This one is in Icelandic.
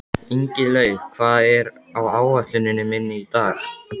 Ingilaug, hvað er á áætluninni minni í dag?